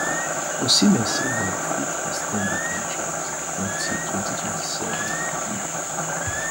osimhen say dem fit ex ten d di contract until 2027 um